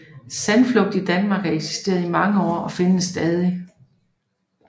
Sandflugt i Danmark har eksisteret i mange år og findes stadig